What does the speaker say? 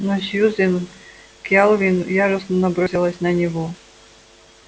но сьюзен кэлвин яростно набросилась на него